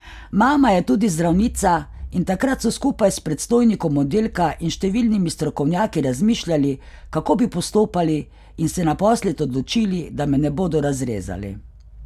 Mama je tudi zdravnica in takrat so skupaj s predstojnikom oddelka in številnimi strokovnjaki razmišljali, kako bi postopali in se naposled odločili, da me ne bodo razrezali.